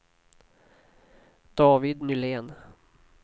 David Nylén